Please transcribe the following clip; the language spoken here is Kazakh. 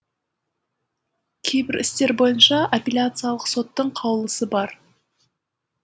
кейбір істер бойынша аппеляциялық соттың қаулысы бар